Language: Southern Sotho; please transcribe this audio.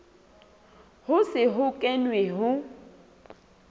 ho se ho kenwe ho